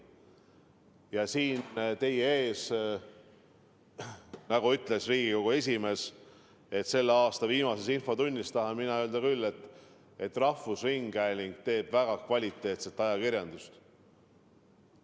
Ja siin teie ees selle aasta viimases infotunnis, nagu ütles Riigikogu esimees, tahan mina küll öelda seda, et rahvusringhääling teeb väga kvaliteetset ajakirjandust.